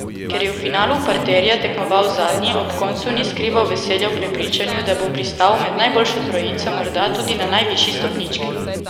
Ker je v finalu parterja tekmoval zadnji, ob koncu ni skrival veselja v prepričanju, da bo pristal med najboljšo trojico, morda tudi na najvišji stopnički.